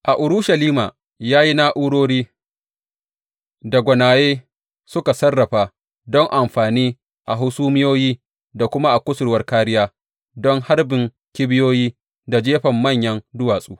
A Urushalima ya yi na’urori da gwanaye suka sarrafa don amfani a hasumiyoyi da kuma a kusurwar kāriya don harbin kibiyoyi da jefan manyan duwatsu.